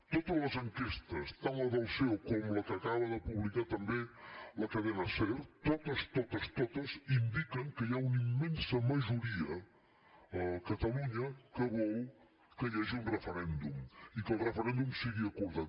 totes les enquestes tant la del ceo com la que acaba de publicar també la cadena ser totes totes totes indiquen que hi ha una immensa majoria a catalunya que vol que hi hagi un referèndum i que el referèndum sigui acordat